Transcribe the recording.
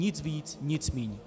Nic víc, nic míň.